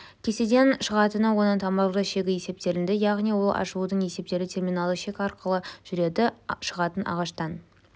кестеден шығатыны оның тамырлы шегі есептелінді яғни ол ашылудың есептелуі терминалды шек арқылы жүреді шығатын ағаштан